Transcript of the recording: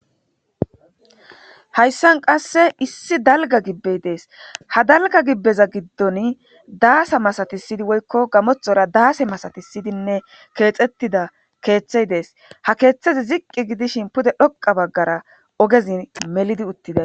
hayssan qasse issi dalga gibbey dees ha dalga gibbeza giddon daasa masatisidi woykko gamothora daase masatisidinne keexettida keeththey dees ha keeththezi ziqqi gidishin pude dhoqa baggara ogezin melidi uttida